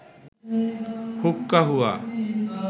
হুক্কা হুয়া